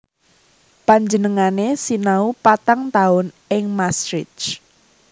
Panjenengané sinau patang taun ing Maastricht